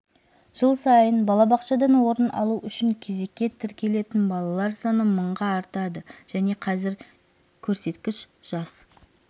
жыл сайын балабақшадан орын алу үшін кезекке тіркелетін балалар саны мыңға артады және қазір көрсеткіш жас